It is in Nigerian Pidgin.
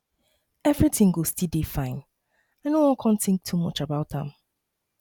everything go um dey fine i know wan um think too much about am